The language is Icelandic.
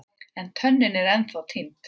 En tönnin er ennþá týnd.